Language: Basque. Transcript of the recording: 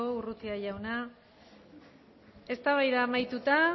urrutia jauna eztabaida amaituta